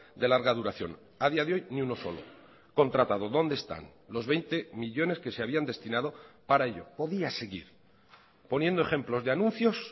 de larga duración a día de hoy ni uno solo contratado dónde están los veinte millónes que se habían destinado para ello podía seguir poniendo ejemplos de anuncios